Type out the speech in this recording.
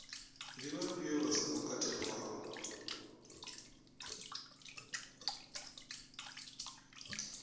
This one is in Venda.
ndi vhafhio vha songo katelwaho